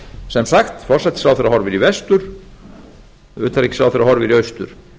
sem sagt forsætisráðherra horfir í vestur utanríkisráðherra horfir í austur